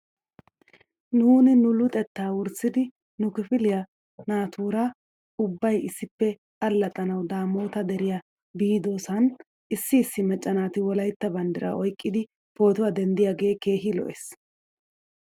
Nuuni nu luxettaa wurssidi nu kifiliyaa naatuura ubbay issippe allaxxanaw daamoota deriyaa biidosan issi issi macca naati wolaytta banddiraa oyqqidi pootuwaa denddiyoogee keehi lo'es.